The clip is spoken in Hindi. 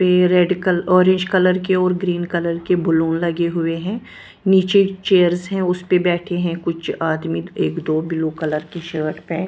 ये रेड कल ऑरेंज कलर के और ग्रीन कलर के बलून लगे हुए है नीचे चेयर्स है उसपे बैठे है कुछ आदमी एक दो ब्लू कलर के शर्ट पहन--